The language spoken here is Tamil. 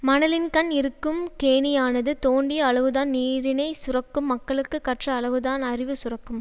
மனலின்கண் இருக்கும் கேணியானது தோண்டிய அளவுதான் நீரினைச் சுரக்கும் மக்களுக்கு கற்ற அளவுதான் அறிவு சுரக்கும்